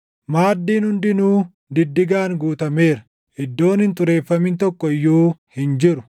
Maaddiin hundinuu diddigaan guutameera; iddoon hin xureeffamin tokko iyyuu hin jiru.